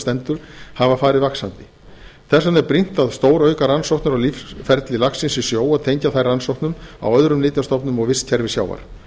stendur hafa farið vaxandi því er brýnt að stórauka rannsóknir á lífsferli laxins í sjó og tengja þær rannsóknum á öðrum nytjastofnum og vistkerfi sjávar